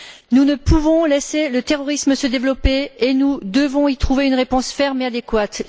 Nous ne pouvons laisser le terrorisme se développer et nous devons y trouver une réponse ferme et adéquate.